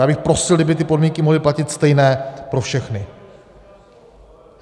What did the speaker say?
Já bych prosil, kdyby ty podmínky mohly platit stejné pro všechny.